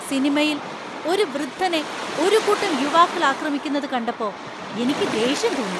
സിനിമയില്‍ ഒരു വൃദ്ധനെ ഒരു കൂട്ടം യുവാക്കൾ ആക്രമിക്കുന്നത് കണ്ടപ്പോ എനിക്ക് ദേഷ്യം തോന്നി.